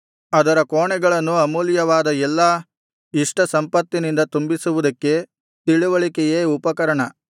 ಅದರ ಕೋಣೆಗಳನ್ನು ಅಮೂಲ್ಯವಾದ ಎಲ್ಲಾ ಇಷ್ಟ ಸಂಪತ್ತಿನಿಂದ ತುಂಬಿಸುವುದಕ್ಕೆ ತಿಳಿವಳಿಕೆಯೇ ಉಪಕರಣ